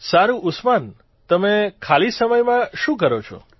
સારૂં ઉસ્માન તમે ખાલી સમયમાં શું કરો છો